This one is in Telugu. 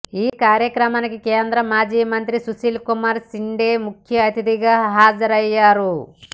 ఈ కార్యక్రమానికి కేంద్ర మాజీ మంత్రి సుశీల్కుమార్ షిండే ముఖ్య అతిథిగా హాజరయ్యారు